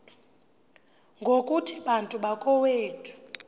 ngokuthi bantu bakowethu